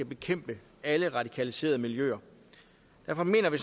bekæmpe alle radikaliserede miljøer derfor mener vi